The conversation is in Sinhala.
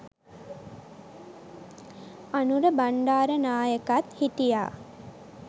අනුර බණ්ඩාරනායකත් හිටියා.